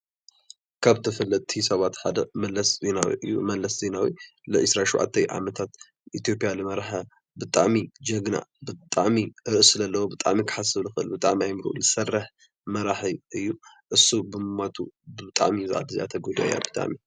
ካብ ተፈለጥቲ ሰባት ሓደ መለስ ዘናዊ እዩ፡፡ መለስ ዜናዊ ንዒሰራን ሸውዓተን ዓመታት ንኢትዮጵያ ዝመረሐ ብጣዕሚ ጅግና፤ ብጣዕሚ ርእሲ ዘለዎ፤ ብጣዕሚ ክሓስብ ዝክእል ፤ብጣዕሚ ኣእምርኡ ዝሰርሕ መራሒ እዩ፡፡ ንሱ ብምማቱ ብጣዕሚ እዛ ዓዲ ተጎዲኣ እያ፡፡